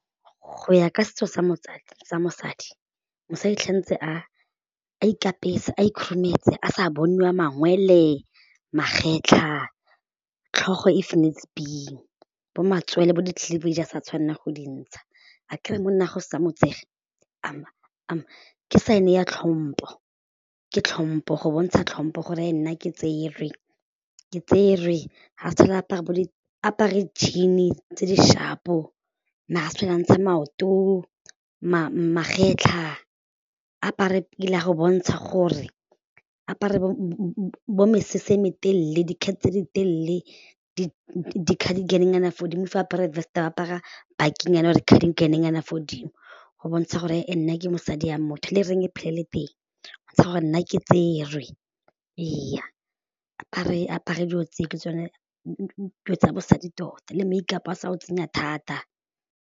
Go ya ka setso sa mosadi, mosadi tshwanetse a ikapese, a khurumetse a sa boniwa mangwele, magetla, tlhogo if needs be, bo matsoele, bo di-cleavage sa tshwanela go di ntsha a kere monnaagwe setse a mo tsere ke sign ya tlhompho, ke tlhompho go bontsha tlhompho gore nna ke tserwe, ke tserwe ga sa tlhole a apara, a apare jean-e tse di sharp-o, ga sa tlhole a ntsha maoto, magetla a apare go bontsha gore, apare bo mesese e me telele, dikhai tse di telele, di cartigen-nyana fa godimo fa, a apare vest ba apara bakinyana or ka cartigen fo godimo go bontsha gore nna ke mosadi ya motho le ring e phele e le teng go bontsha gore nna ke tserwe ee apare apare dilo tseo ke tsone tsa bosadi tota le make-up a sa o tsenya thata.